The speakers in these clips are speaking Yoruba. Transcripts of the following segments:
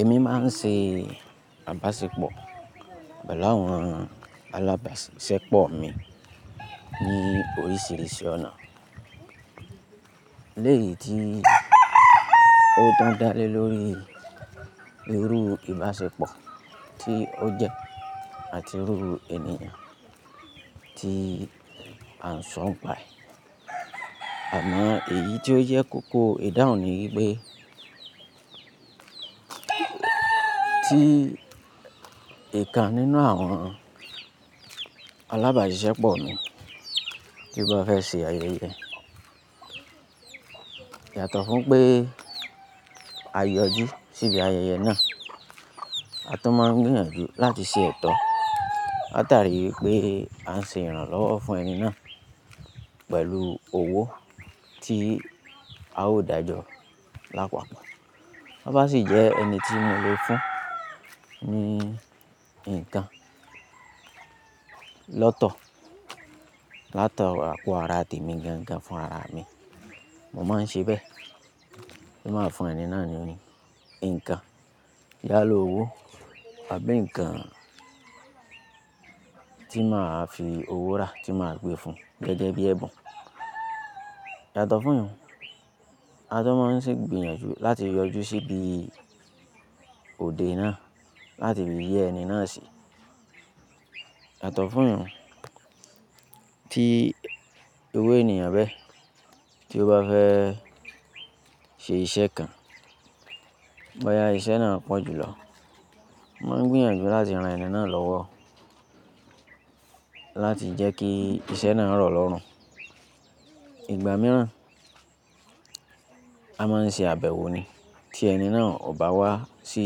Èmi máa ń ṣe abasepọ̀, pẹlu áwọn alábàṣisepọ̀ mi ní oríṣiríṣi ọ̀nà. Lẹ́yìn tí ó tún dá lé lórí irú ìbáṣepọ̀ tí ó jẹ́ àti irú ènìyàn tí à ń sọ ń pa ẹ̀. Àmọ́ èyí tí ó jẹ́ kókó o ìdáhùn ni í pé tí ǹkan nínú àwọn alábàṣepọ̀ mi bá fẹ́ ṣe ayẹyẹ, yàtọ̀ fún pé a yọjú síbi ayẹyẹ náà, a tó máa ń gbìyànjú láti ṣe ètò látàrí pé à ń ṣe ìrànlọ́wọ́ fún ẹni náà pẹ̀lú owó tí a ó dàjọ lápapà. Tóbá sì jẹ́ ẹni tí mo le fún ní nǹkan lọ́tọ̀, látọwọ̀ àpò ara tèmi gangan fún rara à mi. Mo má ń ṣe bẹ́ẹ̀. Mo máa fún ẹni náà ní nǹkan yálà owó àbí nǹkan tí màá fi owó rà tí màá gbé fun gẹ́gẹ́ bí ẹ̀bùn. Yàtọ̀ fún yi hun, a tún máa ń sè gbìyànjú láti yọjú síbi òde náà láti fi yẹ́ ẹni náà sí. Yàtọ̀ fún yi hun tí irú ènìyàn bẹ́ tí ó bá fẹ́ ṣe iṣẹ́ kan, bóyá iṣẹ́ náà pọ̀jù lọ, mo máa ń gbìyànjú láti ran ẹni náà lọ́wọ́ láti jẹ́ kí iṣẹ́ náà rọ̀ lọ́rùn. Ìgbà míràn, a máa ń ṣe àbẹ̀wò ni tí ẹni náà ò bá wá sí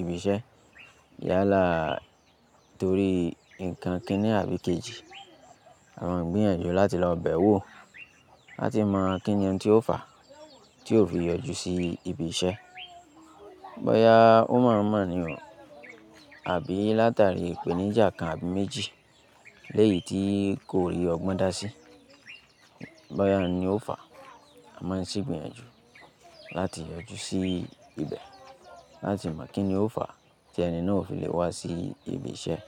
ibi iṣẹ́ yálàa torí nǹkan kin-ní àbí kejì, a máa ń gbìyànjú láti lọ bẹ̀ ẹ́ wò láti mọ kí ni ohun tí ó fà á tí ò fi yọjú sí ibi iṣẹ́. Bóyá ó mọ̀ ọ́n mọ̀ ni o àbí látàrí ìpèníjà kan àbí méjì léèyí tí kò rí ọgbọ́n dá sí. Bóyá òun ni ó fà á, a máa ń sè gbìyànjú láti yọjú sí ibẹ̀ láti mọ̀ kí ni ó fà á tí ẹni náà ò fi lè wá sí ibi iṣẹ́.